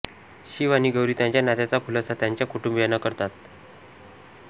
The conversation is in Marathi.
शिव आणि गौरी त्यांच्या नात्याचा खुलासा त्यांच्या कुटुंबियांना करतात